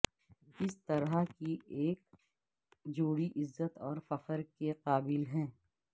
اس طرح کی ایک جوڑی عزت اور فخر کے قابل ہے